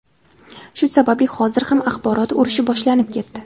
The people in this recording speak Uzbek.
Shu sababli hozir ham axborot urushi boshlanib ketdi.